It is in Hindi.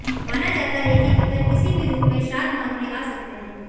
माना जाता है कि पितर किसी भी रुप में श्राद्ध मांगने आ सकते हैं